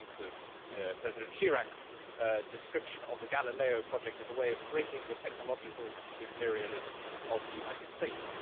One thinks of President Chirac's description of the Galileo project as a way of breaking the technological imperialism of the United States